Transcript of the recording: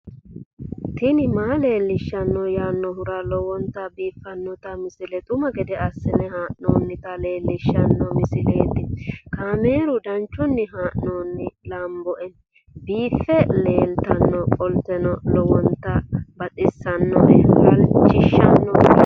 tini maa leelishshanno yaannohura lowonta biiffanota misile xuma gede assine haa'noonnita leellishshanno misileeti kaameru danchunni haa'noonni lamboe biiffe leeeltannoqolten lowonta baxissannoe halchishshanno yaate